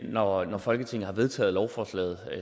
når folketinget har vedtaget lovforslaget